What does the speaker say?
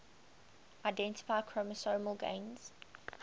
identify chromosomal gains